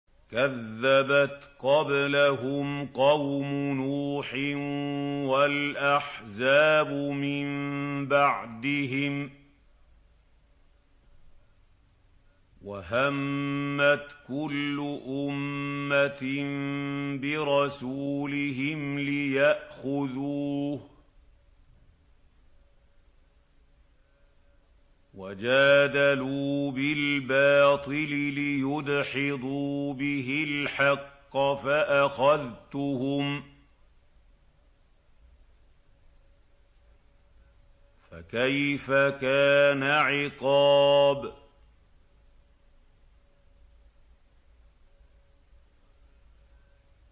كَذَّبَتْ قَبْلَهُمْ قَوْمُ نُوحٍ وَالْأَحْزَابُ مِن بَعْدِهِمْ ۖ وَهَمَّتْ كُلُّ أُمَّةٍ بِرَسُولِهِمْ لِيَأْخُذُوهُ ۖ وَجَادَلُوا بِالْبَاطِلِ لِيُدْحِضُوا بِهِ الْحَقَّ فَأَخَذْتُهُمْ ۖ فَكَيْفَ كَانَ عِقَابِ